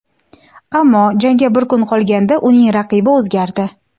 ammo jangga bir kun qolganda uning raqibi o‘zgardi.